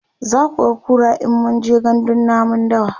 zakuga kura in mun je gandun namun dawa